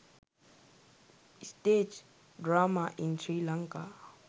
stage drama in sri lanka